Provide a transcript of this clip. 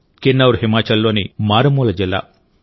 కిన్నౌర్ హిమాచల్లోని మారుమూల జిల్లా